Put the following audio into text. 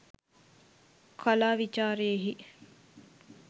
කලා විචාරයෙහි